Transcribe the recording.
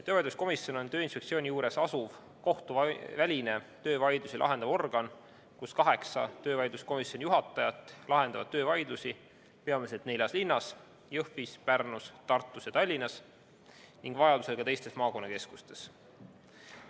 Töövaidluskomisjon on Tööinspektsiooni juures asuv kohtuväline töövaidlusi lahendav organ, kus kaheksa töövaidluskomisjonide juhatajat lahendavad töövaidlusi peamiselt neljas linnas – Jõhvis, Pärnus, Tartus ja Tallinnas – ning vajadusel ka teistes maakonnakeskustes.